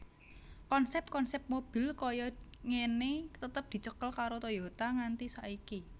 Konsep konsep mobil kaya ngene tetep dicekel karo Toyota nganti saiki